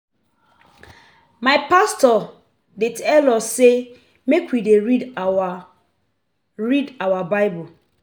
My pastor dey tell us sey make we dey read our read our Bible.